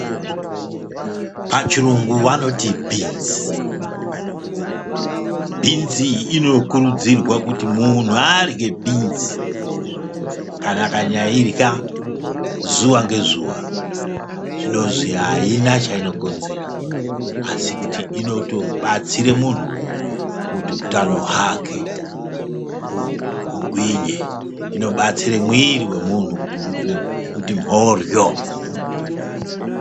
"Pachirungu vanoti BEANS!" Bhinzi inokurudzirwa kuti munhu arye bhinzi, kana akanyairya zuva ngezuva zvinozwi aina chaino konzera, asi kuti inoto batsire munhu kuti utano hwake hugwinye, inobatsire mwiri wemunhu kuti mhoryo.